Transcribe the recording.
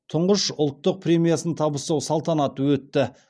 тұңғыш ұлттық премиясын табыстау салтанаты өтті